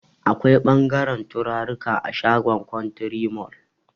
Akwai ɓangaren turaruka a shagon kwantiri mol